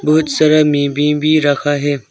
बहुत सारा भी रखा है।